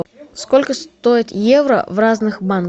сколько стоит евро в разных банках